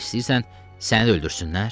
İstəyirsən səni öldürsünlər?